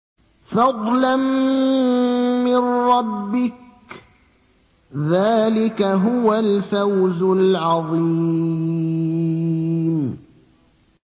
فَضْلًا مِّن رَّبِّكَ ۚ ذَٰلِكَ هُوَ الْفَوْزُ الْعَظِيمُ